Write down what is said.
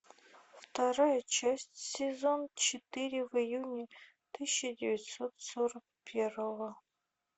вторая часть сезон четыре в июне тысяча девятьсот сорок первого